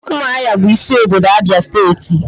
umuahia bu isi obodo Abia steeti.